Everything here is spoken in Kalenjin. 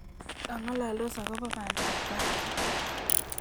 Kangololdos akobo bandab tai